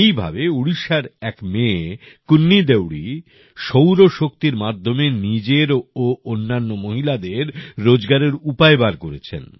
এইভাবে উড়িষ্যার এক মেয়ে কুন্নী দেউরি সৌর শক্তির মাধ্যমে নিজের ও অন্যান্য মহিলাদের রোজকারের উপায় বার করেছেন